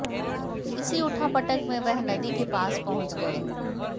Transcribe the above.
इसी उठा पटक में वह नदी के पास पहुंच गये